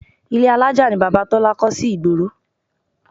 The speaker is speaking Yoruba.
Ile alájà ni Bàbá Tọ́lá kọ́ sí ìgboro